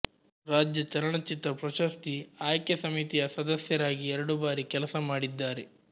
ರಾಜ್ಯ ಚಲನಚಿತ್ರ ಪ್ರಶಸ್ತಿ ಆಯ್ಕೆ ಸಮಿತಿಯ ಸದಸ್ಯರಾಗಿ ಎರಡು ಬಾರಿ ಕೆಲಸ ಮಾಡಿದ್ದಾರೆ